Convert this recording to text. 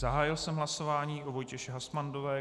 Zahájil jsem hlasování o Vojtěše Hasmandové.